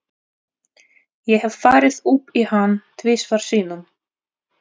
Ég hef farið upp í hann tvisvar sinnum.